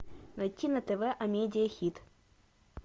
найти на тв амедиа хит